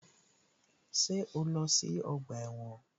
Ṣé o lọ sí ọgbà ẹ̀wọ̀n?